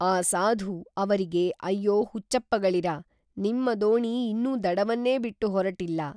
ಆ ಸಾಧು ಅವರಿಗೆ ಅಯ್ಯೊ ಹುಚ್ಚಪ್ಪಗಳಿರಾ ನಿಮ್ಮ ದೋಣಿ ಇನ್ನೂ ದಡವನ್ನೇ ಬಿಟ್ಟು ಹೊರಟಿಲ್ಲ.